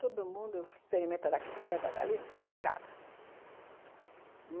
Todo mundo experimenta daqui, experimenta dali, não sei, casa.